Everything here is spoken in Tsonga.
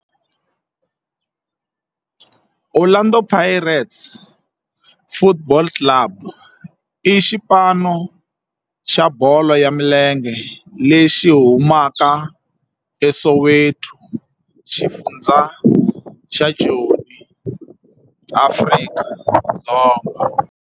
Orlando Pirates Football Club i xipano xa bolo ya milenge lexi humaka eSoweto, xifundzha xa Joni, Afrika-Dzonga.